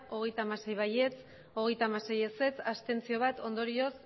hogeita hamasei ez hogeita hamasei abstentzioak bat ondorioz